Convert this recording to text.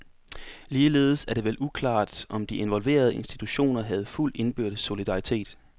Ligeledes er det vel uklart, om de involverede institutioner havde fuld indbyrdes solidaritet.